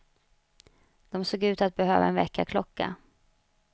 De såg ut att behöva en väckarklocka.